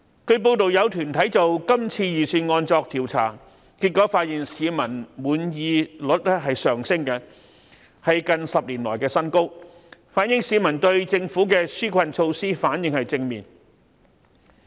據報有團體就今次預算案作調查，結果發現市民的滿意率上升，是近10年來的新高，反映市民對政府的紓困措施反應正面。